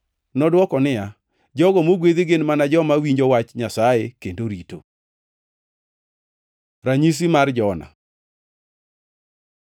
Nodwoko niya, “Jogo mogwedhi gin mana joma winjo wach Nyasaye kendo rito.” Ranyisi mar Jona